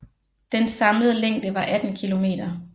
Dens samlede længde var 18 km